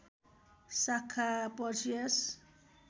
शाखा पर्सियस